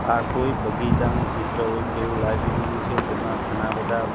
આ કોઈ બગીચાનું ચિત્ર હોય તેવું લાગી રહ્યું છે તેમાં ઘણા બધા--